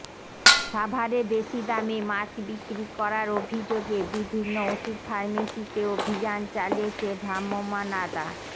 সাভারে বেশি দামে মাস্ক বিক্রি করার অভিযোগে বিভিন্ন ওষুধ ফার্মেসিতে অভিযান চালিয়েছে ভ্রাম্যমাণ আদা